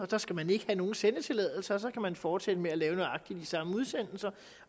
der skal man ikke have nogen sendetilladelse og så kan man fortsætte med at lave nøjagtig de samme udsendelser